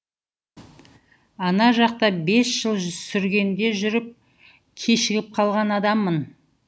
ана жақта бес жыл сүргінде жүріп кешігіп қалған адаммын